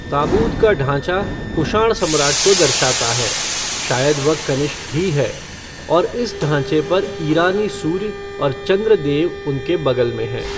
ताबूत का ढांचा कुषाण सम्राट को दर्शाता है, शायद वह कनिष्क ही है, और इस ढांचे पर ईरानी सूर्य और चंद्र देव उनके बगल में हैं।